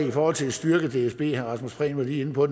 i forhold til at styrke dsb og herre rasmus prehn var lige inde på